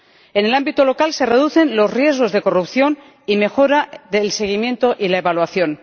En el ámbito local se reducen los riesgos de corrupción y mejoran el seguimiento y la evaluación.